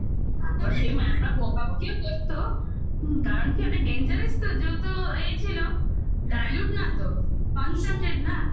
তারপর সেই বকাবকিও করতো হুম কারণ কি ওটা dangerous তো যেহেতু এ ছিল. দাইলু concentrate না